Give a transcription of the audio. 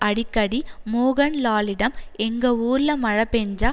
அடிக்கடி மோகன்லாலிடம் எங்க ஊர்ல மழை பெஞ்சா